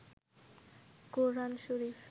কোরআন শরীফ